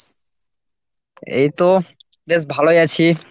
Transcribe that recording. এইতো বেশ ভালোই আছি।